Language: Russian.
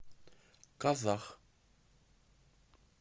казах